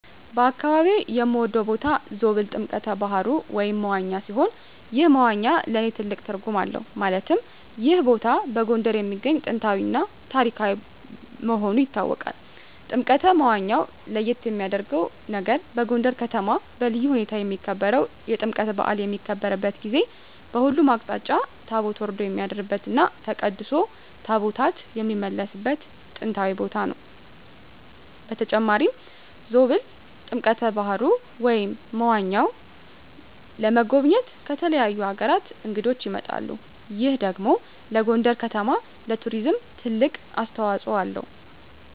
በአካባቢየ የምወደው ቦታ ዞብል ጥምቀተ ባህሩ (መዋኛ) ሲሆን ይህ መዋኛ ለእኔ ትልቅ ትርጉም አለው ማለትም ይህ ቦታ በጎንደር የሚገኝ ጥንታዊ እና ታሪካዊ መሆኑ ይታወቃል። ጥምቀተ መዋኛው ለየት የሚያረገው ነገር በጎንደር ከተማ በልዩ ሁኔታ የሚከበረው የጥምቀት በአል በሚከበርበት ጊዜ በሁሉም አቅጣጫ ታቦት ወርዶ የሚያድርበት እና ተቀድሶ ታቦታት የሚመለስበት ጥንታዊ ቦታ ነው። በተጨማሪም ዞብል ጥምቀተ በሀሩ (መዋኛው) ለመጎብኘት ከተለያዩ አገራት እንግዶች ይመጣሉ ይህ ደግሞ ለጎንደር ከተማ ለቱሪዝም ትልቅ አስተዋጽኦ አለው።